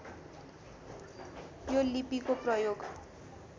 यो लिपिको प्रयोग